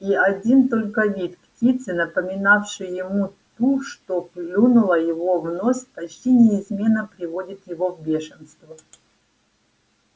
и один только вид птицы напоминавшей ему ту что клюнула его в нос почти неизменно приводит его в бешенство